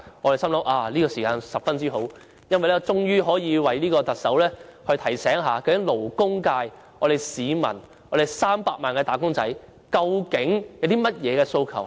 我心想這時間十分好，因為可以藉議案提醒特首勞工界的300萬個"打工仔"歷年的訴求。